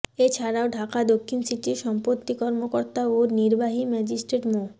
এ ছাড়াও ঢাকা দক্ষিণ সিটির সম্পত্তি কর্মকর্তা ও নির্বাহী ম্যাজিস্ট্রেট মো